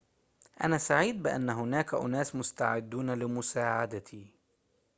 أنا سعيد بأن هناك أناس مستعدون لمساعدتي